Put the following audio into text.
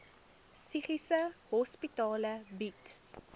psigiatriese hospitale bied